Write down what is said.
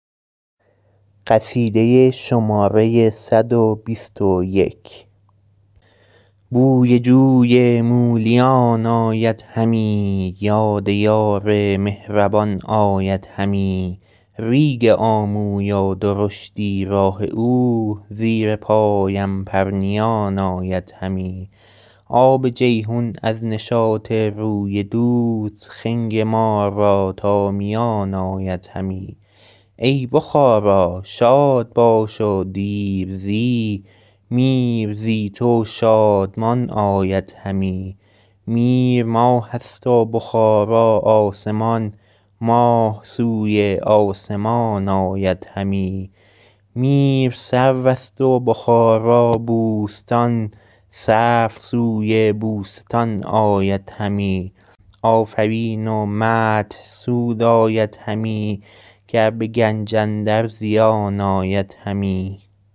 بوی جوی مولیان آید همی یاد یار مهربان آید همی ریگ آموی و درشتی های او زیر پایم پرنیان آید همی آب جیحون از نشاط روی دوست خنگ ما را تا میان آید همی ای بخارا شاد باش و دیر زی میر زی تو شادمان آید همی میر ماه است و بخارا آسمان ماه سوی آسمان آید همی میر سرو است و بخارا بوستان سرو سوی بوستان آید همی آفرین و مدح سود آید همی گر به گنج اندر زیان آید همی